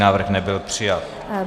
Návrh nebyl přijat.